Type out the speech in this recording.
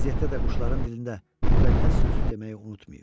Bu vəziyyətdə də quşların dilində müqəddəs sözü deməyi unutmayıb.